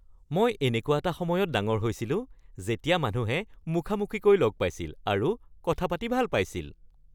মই এনেকুৱা এটা সময়ত ডাঙৰ হৈছিলোঁ যেতিয়া মানুহে মুখামুখিকৈ লগ পাইছিল আৰু কথা পাতি ভাল পাইছিল